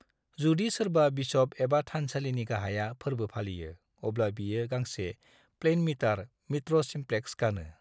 जुदि सोरबा बिशप एबा थानसालिनि गाहाया फोर्बो फालियो, अब्ला बियो गांसे प्लेइन मिटार (मित्र सिमप्लेक्स) गानो।